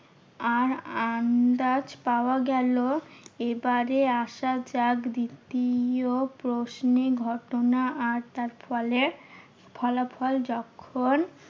আর আন্দাজ পাওয়া গেলো। এবারে আসা যাক দ্বিতীয় প্রশ্নে, ঘটনা আর তার ফলে ফলাফল যখন